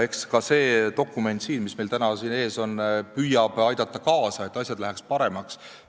Ka see dokument, mis meil täna siin ees on, püüab aidata kaasa sellele, et asjad läheks paremaks.